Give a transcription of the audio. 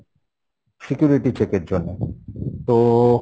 security check এর জন্য তো